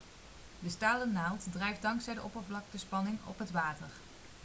de stalen naald drijft dankzij de oppervlaktespanning op het water